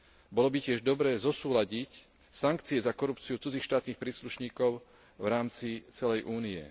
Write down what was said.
Bolo by tiež dobré zosúladiť sankcie za korupciu cudzích štátnych príslušníkov v rámci celej Únie.